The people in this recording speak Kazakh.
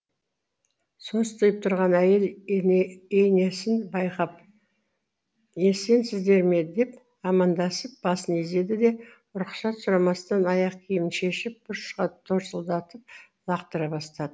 состиып тұрған әйел ейнесін байқап есенсіздер ме деп амандасып басын изеді де рұқсат сұрамастан аяқ киімін шешіп бұрышқа торсылдатып лақтыра бастады